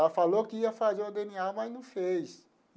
Ela falou que ia fazer o dê ene á, mas não fez.